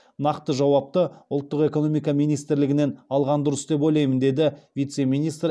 нақты жауапты ұлттық экономика министрлігінен алған дұрыс деп ойлаймын деді вице министр